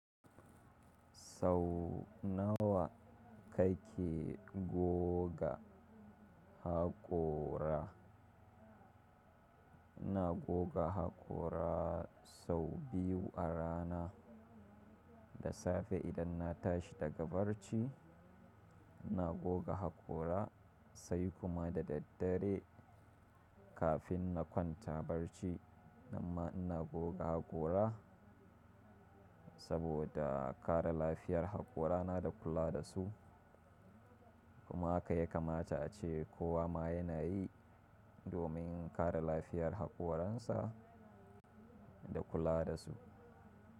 Sau nawa kake goga haƙora? Ina goga haƙora sau biyu a rana. Da safe idan na tashi daga barci ina goga haƙora sai kuma da daddare kafin na kwanta barci. Amma ina goga haƙora saboda kare lafiyar haƙorana da kula da su. Kuma haka ya kamata ace kowa ma yana yi domin kare lafiyar haƙoransa da kula da su.